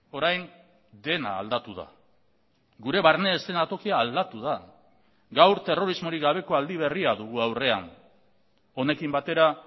orain dena aldatu da gure barne eszenatokia aldatu da gaur terrorismorik gabeko aldi berria dugu aurrean honekin batera